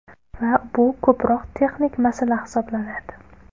Va bu ko‘proq texnik masala hisoblanadi.